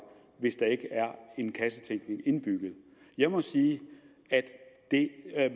hvis der ikke er en kassetænkning indbygget jeg må sige at det